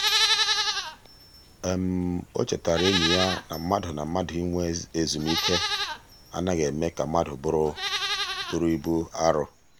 o chetaara enyi ya na mmadụ na mmadụ inwe ezumike anaghị eme ka mmadụ bụrụ ibu arọ.